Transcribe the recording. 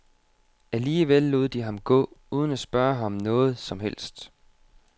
Alligevel lod de ham gå, uden at spørge ham om noget som helst.